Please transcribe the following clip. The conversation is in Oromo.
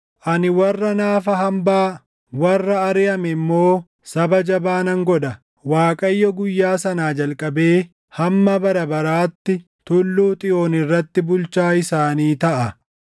Ani warra naafa hambaa, warra ariʼame immoo saba jabaa nan godha. Waaqayyo guyyaa sanaa jalqabee hamma bara baraatti Tulluu Xiyoon irratti bulchaa isaanii taʼa.